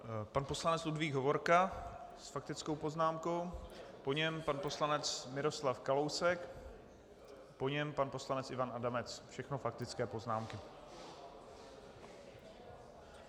Pan poslanec Ludvík Hovorka s faktickou poznámkou, po něm pan poslanec Miroslav Kalousek, po něm pan poslanec Ivan Adamec, všechno faktické poznámky.